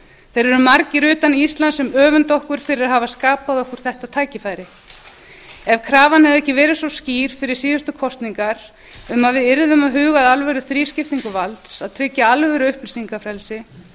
eru margir utan íslands sem öfunda okkur fyrir að hafa skapað okkur þetta tækifæri ef krafan hefði ekki verið svo skýr fyrir síðustu kosningar um að við yrðum að huga að alvöru þrískiptingu valds að tryggja alvöru upplýsingafrelsi